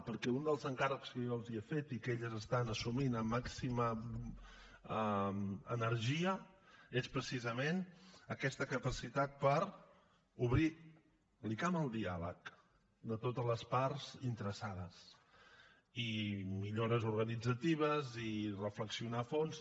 perquè un dels encàrrecs que jo els he fet i que elles estan assumint amb màxima energia és precisament aquesta capacitat per obrir l’icam al diàleg de totes les parts interessades i millores organitzatives i reflexionar a fons